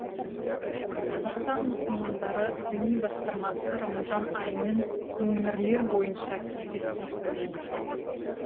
қазақстан мұсылмандары діни басқармасы рамазан айының өңірлер бойынша кестесін ұсынды